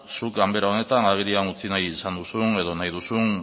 zu ganbera honetan agerian utzi nahi izan duzun edo nahi duzun